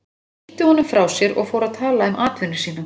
Hann ýtti honum frá sér og fór að tala um atvinnu sína.